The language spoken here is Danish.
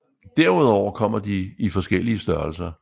Derudover kommer de i forskellige størrelser